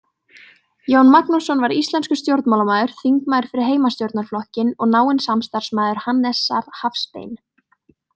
Jón Magnússon var íslenskur stjórnmálamaður, þingmaður fyrir Heimastjórnarflokkinn og náinn samstarfsmaður Hannesar Hafstein.